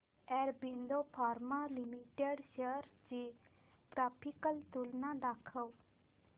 Aurobindo pharma limited shares ची graphical तुलना दाखव